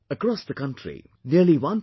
Across the country, nearly 1